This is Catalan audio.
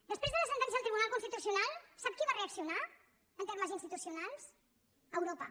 després de la sentència del tribunal constitucional sap qui va reaccionar en termes institucionals europa